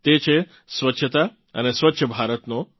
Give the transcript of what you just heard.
તે છે સ્વચ્છતા અને સ્વચ્છ ભારતનો